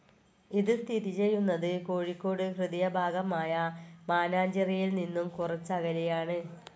ഇത് സ്ഥിതി ചെയ്യുന്നത് കോഴിക്കോട് ഹൃദയഭാഗമായ മാനാഞ്ചിറയിൽ നിന്നും കുറച്ചകലെയാണ്.